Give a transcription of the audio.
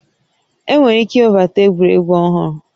Enwere ike iwebata egwuregwu ọhụrụ